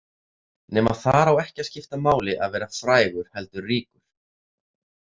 Nema þar á ekki að skipta máli að vera frægur heldur ríkur.